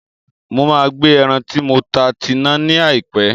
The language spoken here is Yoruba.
Mo máa gbe ẹran tí mo ta tina ní àìpé